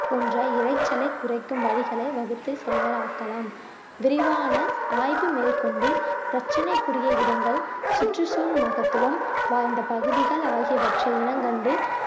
போன்ற இறைச்சலை குறைக்கும் வழிகளை வகுத்து செயலாக்கலாம் விரிவான ஆய்வு மேற்கொண்டு பிரச்சனைக்குரிய இடங்கள் சுற்றுச்சூழல் மகத்துவம் வாய்ந்த பகுதிகள் ஆகியவற்றை இனங்கண்டு